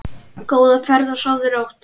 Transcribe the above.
Góða ferð og sofðu rótt.